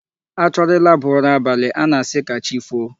A chọrọ ịlaba ụra abalị a na-asị ka chi foo.